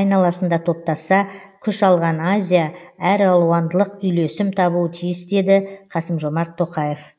айналасында топтасса күш алған азия әралуандылық үйлесім табуы тиіс деді қасым жомарт тоқаев